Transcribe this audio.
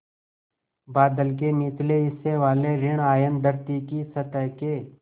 बादल के निचले हिस्से वाले ॠण आयन धरती की सतह के